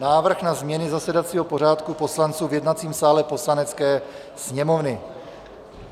Návrh na změny zasedacího pořádku poslanců v jednacím sále Poslanecké sněmovny